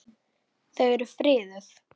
Þau eru friðuð.